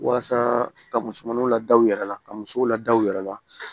Walasa ka musomanninw lada u yɛrɛ la ka musow lada u yɛrɛ la